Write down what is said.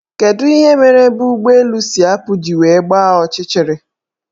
Kedu ihe mere ebe ụgbọelu si apụ ji wee gbaa ọchịchịrị?